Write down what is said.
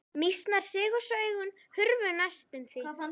Mýsnar sigu svo augun hurfu næstum því.